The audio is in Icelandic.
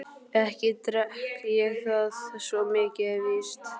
Ekki drekk ég það, svo mikið er víst.